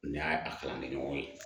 Nin y'a a kalan ne ɲɔgɔn ye